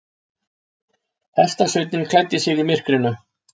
Hestasveinninn klæddi sig í myrkrinu.